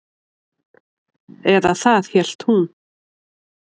Eða það hélt hún.